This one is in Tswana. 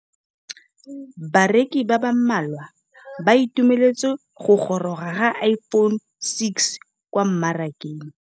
Bareki ba ba malwa ba ituemeletse go gôrôga ga Iphone6 kwa mmarakeng.